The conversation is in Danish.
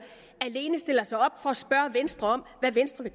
alene stiller sig op for at spørge venstre om hvad venstre